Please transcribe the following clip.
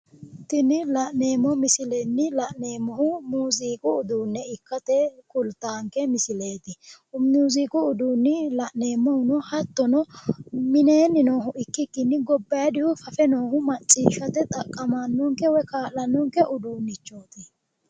Tini la'neemmo misilenni la'neemmohu muuziiqu uduunne ikkase kultaanke misileeti. muuziiqu uduunni la'neemmohuno hattono mineenni noohu ikkikkinni gobbaayiidihu fafe noohu macciishshate xaqqamannonke uduunnichooti.